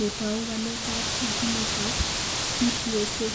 netou waletab ginitab CTSA.